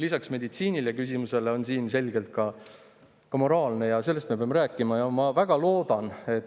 " Lisaks meditsiinilisele küsimusele on siin selgelt ka moraalne küsimus ja sellest me peame rääkima.